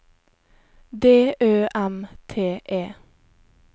D Ø M T E